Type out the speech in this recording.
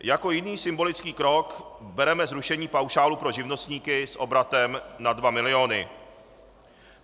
Jako jiný symbolický krok bereme zrušení paušálu pro živnostníky s obratem nad dva miliony.